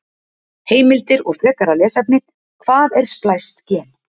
Heimildir og frekara lesefni: Hvað er splæst gen?